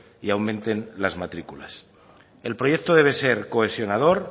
y aumenten las matrículas el proyecto debe ser cohesionador